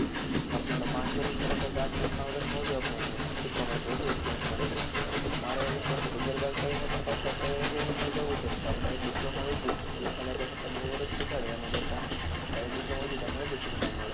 આપને ઓલા પાંચ વર્ષ કરવા કરતા આપને આ ચાર વર્ષ શીખવા મડશે વધુ experience મળે છે, તો મારો એવો વિચાર છે કે આગિયાર બાર કરીને પણ પાછુ આપને engineering માં જવું છે તો આપણે direct માં વી જઈએ ઓલા આપણે બે વર્ષ બગાડવા એના કરતા direct diploma માં માં વી જઈએ તો આપણે વધુ શીખવા મળે.